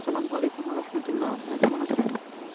সেলাম ওয়ালেকুম রহমাতুল্লা ভাইয়া কেমন আছেন